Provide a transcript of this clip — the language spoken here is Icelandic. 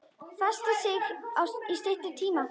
Festa sig í styttri tíma.